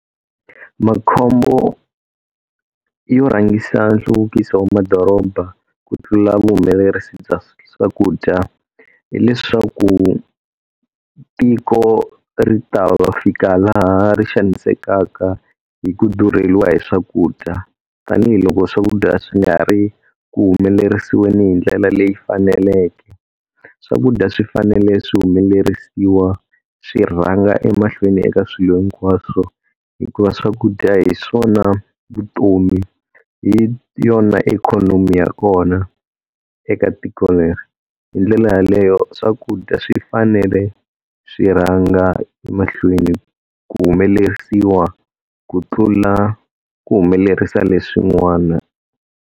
Makhombo yo rhangisa nhluvukiso wa madoroba ku tlula vuhumelerisi bya swakudya hileswaku tiko ri ta fika laha ri xanisekaka hi ku durheliwa hi swakudya, tanihiloko swakudya swi nga ri ku humelerisiweni hindlela leyi faneleke. Swakudya swi fanele swi humelerisiwa swi rhanga emahlweni eka swilo hinkwaswo, hikuva swakudya hi swona vutomi hi yona ikhonomi ya kona eka tiko leri, hindlela yaleyo swakudya swi fanele swi rhanga emahlweni ku humelerisiwa ku tlula ku humelerisa leswin'wana.